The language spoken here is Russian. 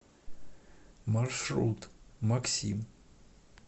маршрут максим